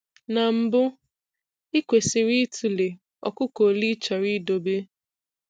Na mbu, ị kwesiri ịtụle ọkụkọ olee ịchọrọ idobe.